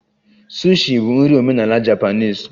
Sushi bụ nri omenala Japanese